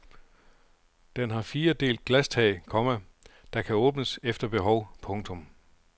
Den har fire delt glastag, komma der kan åbnes efter behov. punktum